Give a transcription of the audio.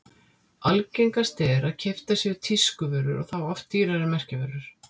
Algengast er að keyptar séu tískuvörur og þá oft dýrar merkjavörur.